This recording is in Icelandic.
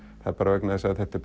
það er bara vegna þess að þetta er